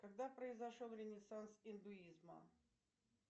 когда произошел ренессанс индуизма